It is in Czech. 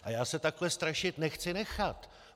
A já se takhle strašit nechci nechat.